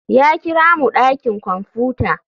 Ya kira mu dakin kwamfuta.